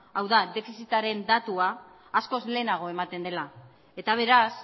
hau da defizitaren datua askoz lehenago ematen dela eta beraz